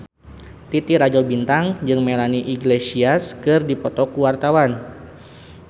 Titi Rajo Bintang jeung Melanie Iglesias keur dipoto ku wartawan